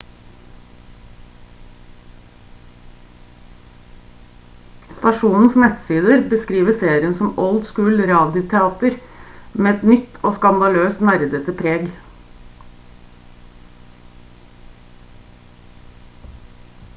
stasjonens nettsider beskriver serien som «old school-radioteater med et nytt og skandaløst nerdete preg!»